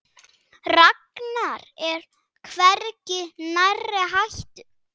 Ragnar er hvergi nærri hættur.